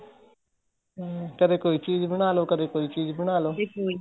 ਹਮ ਕਦੇਂ ਕੋਈ ਚੀਜ਼ ਬਣਾਲੋ ਕਦੇਂ ਕੋਈ ਚੀਜ਼ ਬਣਾਲੋ ਕਦੇ ਕੋਈ